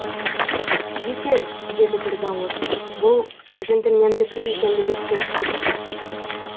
жетер деді бір дауыс бұл жентльмендікі екендігі сөзсіз